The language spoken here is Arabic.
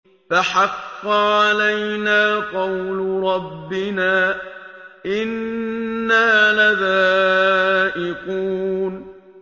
فَحَقَّ عَلَيْنَا قَوْلُ رَبِّنَا ۖ إِنَّا لَذَائِقُونَ